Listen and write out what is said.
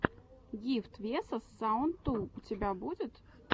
гифтс весос саунд ту у тебя будет